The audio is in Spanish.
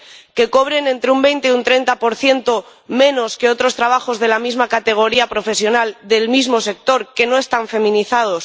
que cobren entre un 20 o un 30 menos que otros trabajos de la misma categoría profesional, en el mismo sector, que no están feminizados